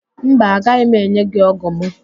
Mba, agaghị m enye gị ógụ̀ mụ